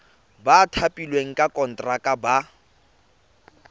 ba thapilweng ka konteraka ba